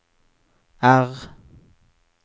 R